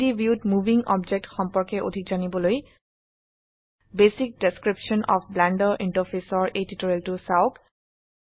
3ডি ভিউত moving object সম্পৰ্কে অধিক জানিবলৈ basic description of Blender interface এৰ এই টিউটোৰিয়েলটো চাওক